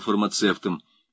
фармацевтом